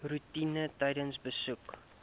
roetine tydens besoeke